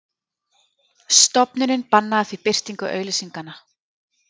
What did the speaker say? Stofnunin bannaði því birtingu auglýsinganna